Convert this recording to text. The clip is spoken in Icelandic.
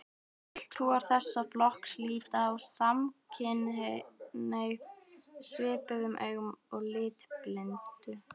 Fulltrúar þessa flokks líta á samkynhneigð svipuðum augum og litblindu.